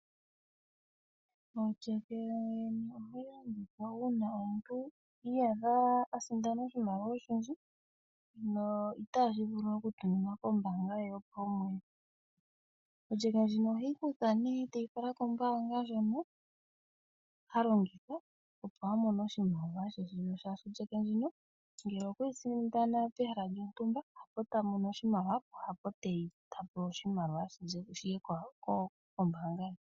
Otsheke ohayi longithwa uuna omuntu i iyadha a sindana oshimaliwa oshindji no itashi vulu okutuminwa kombaanga ye yopaumwene. Otsheke ndjoka oheyi kutha nduno e teyi fala kombaanga ndjoka ha longitha opo a mone oshimaliwa she, molwashoka otsheke ndjika ngele okwe yi sindana pehala lyontumba ha po ta mono oshimaliwa hapo ta pewa oshimaliwa shi ye kombaanga ye.